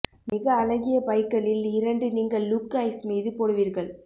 மிக அழகிய பைக்களில் இரண்டு நீங்கள் லுக் ஐஸ் மீது போடுவீர்கள்